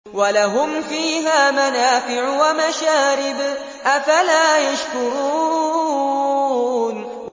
وَلَهُمْ فِيهَا مَنَافِعُ وَمَشَارِبُ ۖ أَفَلَا يَشْكُرُونَ